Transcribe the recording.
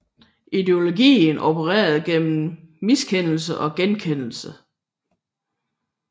Ideologien opererer gennem miskendelse og genkendelse